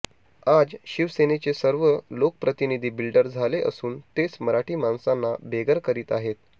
आज शिवसेनेचे सर्व लोकप्रतिनिधी बिल्डर झाले असून तेच मराठी माणसांना बेघर करीत आहेत